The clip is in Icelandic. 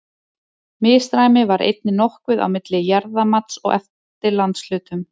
Misræmi var einnig nokkuð á milli jarðamats eftir landshlutum.